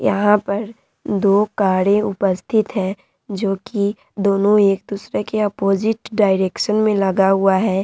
यहां पर दो कारें उपस्थित है जो की एक दूसरे के ऑपोजिट डायरेक्शन में लगी हुई है।